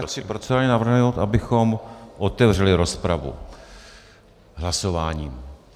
Zaprvé chci procedurálně navrhnout, abychom otevřeli rozpravu hlasováním.